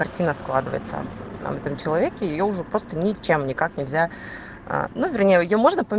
картина складывается на этом человеке я уже просто ничем никак нельзя на нее можно